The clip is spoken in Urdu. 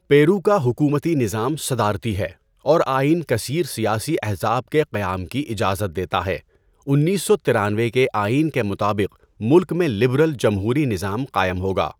پیرو کا حکومتی نظام صدارتی ہے اور آئین کثیر سیاسی احزاب کے قیام کی اجازت دیتا ہے۔ انیس سو ترانوے کے آئین کے مطابق ملک میں لبرل جمہوری نظام قائم ہوگا۔